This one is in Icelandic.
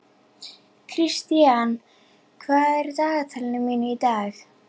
Kristian, hvað er í dagatalinu mínu í dag?